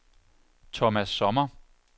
Thomas Sommer